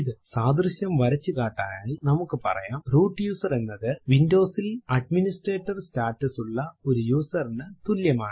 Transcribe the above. സാദൃശ്യം വരച്ചു കാട്ടാനായി നമുക്ക് പറയാം റൂട്ട് യൂസർ എന്നത് Windows ൽ അഡ്മിനിസ്ട്രേറ്റർ സ്റ്റാറ്റസ് ഉള്ള ഒരു യൂസർ നു തുല്യമാണ്